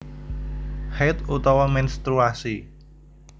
Haidh utawa ménstruasi